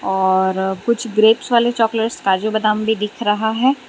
और कुछ ग्रेप्स वाले चॉकलेट्स काजू बादाम भी दिख रहा है।